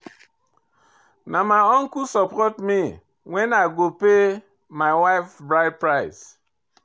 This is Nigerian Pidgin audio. Na my uncle support me wen I go pay my wife bride price.